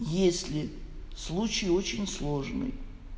если случай очень сложный